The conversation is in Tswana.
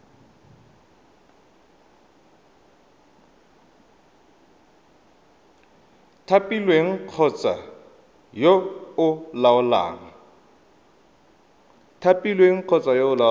thapilweng kgotsa yo o laolang